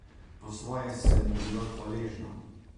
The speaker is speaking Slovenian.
Po svoje sem mu bila hvaležna.